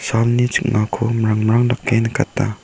salni ching·ako mrimmrim dake nikata.